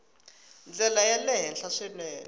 ndlela ya le henhla swinene